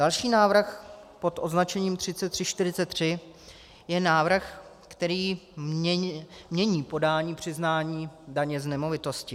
Další návrh, pod označením 3343, je návrh, který mění podání přiznání daně z nemovitosti.